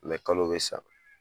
kalo bi sa